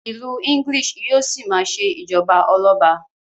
ilú English yíò sí ma ṣe ijọba Ọlọba